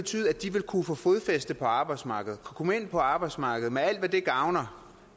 ville kunne få fodfæste på arbejdsmarkedet kunne komme ind på arbejdsmarkedet med alt hvad det gavner